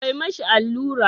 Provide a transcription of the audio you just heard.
Ka mishi allura.